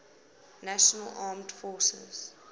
national armed forces